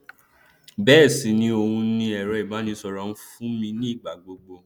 bẹẹ sì ni òun ni ẹrọ ìbánisọrọ fún mi ní ìgbà gbogbo